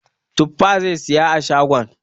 Tuffa zai saya a shagon.